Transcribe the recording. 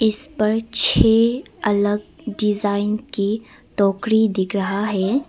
इस पर छह अलग डिजाइन की टोकरी दिख रहा है।